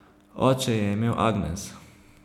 Oče je imel Agnes.